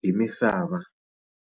hi misava.